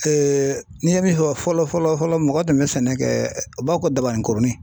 n'i ye min fɔ fɔlɔ fɔlɔ mɔgɔ tun bɛ sɛnɛ kɛ o b'a fɔ ko dabani kurunin.